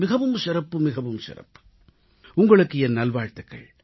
மிகவும் சிறப்பு மிகவும் சிறப்பு உங்களுக்கு என் நல்வாழ்த்துகள்